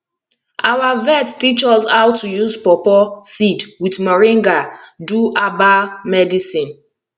our vet teach us how to use pawpaw seed with moringa do herbal medicine